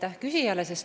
Aitäh küsijale!